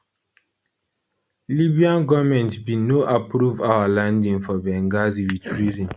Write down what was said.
libyan goment bin no approve our landing for for benghazi wit reason